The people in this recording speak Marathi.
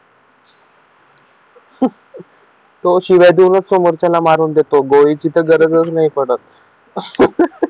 तो शिव्या देऊनच समोरच्याला मारून देतो गोळी तिथं गरजच नाही पडत